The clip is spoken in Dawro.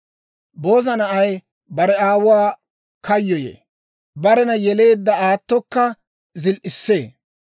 Booza na'ay bare aawuwaa kayyoyee; barena yeleedda aatokka zil"issee.